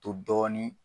To dɔɔni